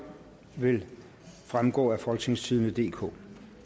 vil fremgå af folketingstidende DK